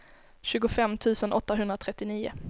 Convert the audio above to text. tjugofem tusen åttahundratrettionio